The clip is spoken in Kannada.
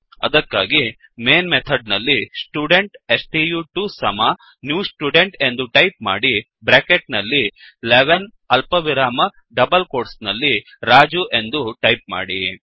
ಅದಕ್ಕಾಗಿ ಮೇನ್ ಮೆಥಡ್ ನಲ್ಲಿ ಸ್ಟುಡೆಂಟ್ ಸ್ಟು2 ಸಮ ನ್ಯೂ ಸ್ಟುಡೆಂಟ್ ಎಂದು ಟೈಪ್ ಮಾಡಿ ಬ್ರ್ಯಾಕೆಟ್ ನಲ್ಲಿ 11 ಅಲ್ಪವಿರಾಮ ಡಬಲ್ ಕೋಟ್ಸ್ ನಲ್ಲಿ ರಾಜು ಎಂದು ಟೈಪ್ ಮಾಡಿ